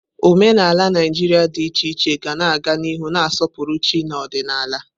Omenala Naijiria dị iche iche ga-aga n'ihu na-asọpụrụ chi na ọdịnala.